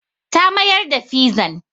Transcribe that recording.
Ta mayar da fizan.